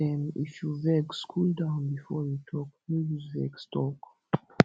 um if you vex cool down before you talk no use vex talk